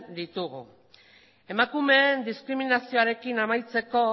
ditugu emakumeen diskriminazioarekin amaitzeko